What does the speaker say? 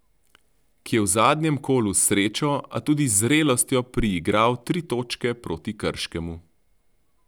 Ki je v zadnjem kolu s srečo, a tudi z zrelostjo priigral tri točke proti Krškemu.